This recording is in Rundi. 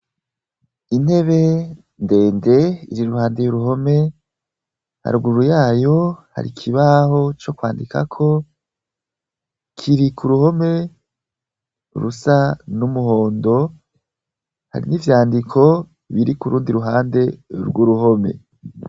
Intebe ndende iri iruhande y'uruhome. Haruguru y'ayo, har'ikibaho co kwandikako, kiri k'uruhome rusa n'umuhondo. Hari n'ivyandiko biri kur'undi ruhande rw'uruhome.